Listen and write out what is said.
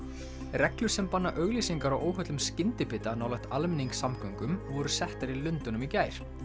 reglur sem banna auglýsingar á óhollum skyndibita nálægt almenningssamgöngum voru settar í Lundúnum í gær